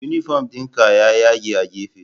Unifom ɗinki ya yage a gefe